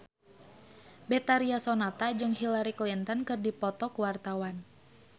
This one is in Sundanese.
Betharia Sonata jeung Hillary Clinton keur dipoto ku wartawan